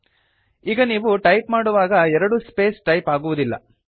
ಈಗ ನೀವು ಟೈಪ್ ಮಾಡುವಾಗ ಎರಡು ಸ್ಪೇಸ್ ಟೈಪ್ ಆಗುವುದಿಲ್ಲ